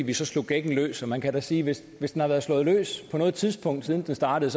vi så slog gækken løs og man kan da sige at hvis den har været slået løs på noget tidspunkt siden den startede